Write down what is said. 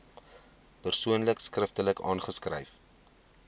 persoon skriftelik aanskryf